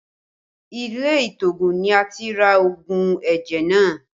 Ilé ìtoògùn ni a ti ra òògùn ẹ̀jẹ̀ náà